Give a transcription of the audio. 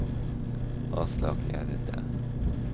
Aslak Gjerde